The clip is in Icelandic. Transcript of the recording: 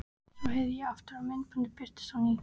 Svo herði ég aftur og myndin birtist á ný.